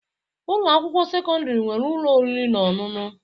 Ụlọ akwụkwọ sekọndrị nwere ụlọ oriri na ọṅụṅụ